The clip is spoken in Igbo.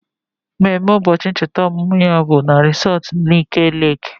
Mmemme ụbọchị ncheta ọmụmụ ya bụ na resọtu Nike Leeki